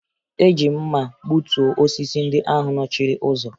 Eji m mma gbutuo osisi ndị ahụ nọchiri ụzọ